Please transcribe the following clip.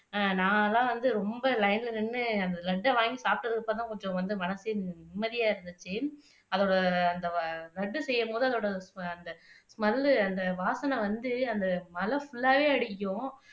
நான் எல்லாம் வந்து ரொம்ப லைன்ல நின்னு லட்டை வாங்கி சாப்பிட்டதுக்கு அப்புறம்தான் கொஞ்சம் வந்து மனசே நிம்மதியா இருந்துச்சு அதோட அந்த லட்டு செய்யும் போது அதோட ஸ்மெல் வாசனை வந்து அந்த மலை ஃபுல்லாவே அடிக்குது